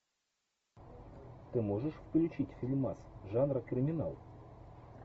ты можешь включить фильмас жанра криминал